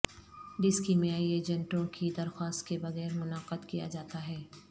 ڈس کیمیائی ایجنٹوں کی درخواست کے بغیر منعقد کیا جاتا ہے